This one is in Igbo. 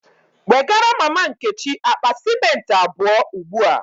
Wegara mama Nkechi akpa cimenti abuo ugbua!